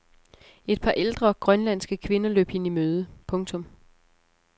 Et par ældre grønlandske kvinder løb hende i møde. punktum